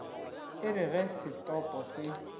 e re ge setopo se